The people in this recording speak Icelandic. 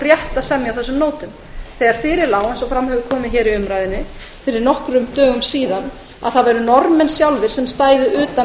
rétt að semja á þessum nótum þegar fyrir lá eins og komið hefur fram í umræðum fyrir nokkrum dögum að það væru norðmenn sjálfir sem stæðu utan